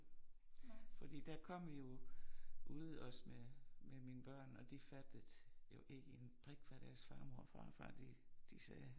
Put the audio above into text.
Fordi der kom vi jo ude også med med mine børn og de fattede jo ikke en brik hvad deres farmor og farfar de de sagde